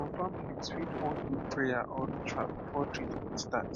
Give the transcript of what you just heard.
some families fit wan do prayer or ritual before treatment start